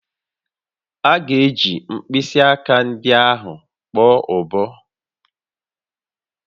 A ga-eji mkpịsị aka ndị ahụ kpọọ ụbọ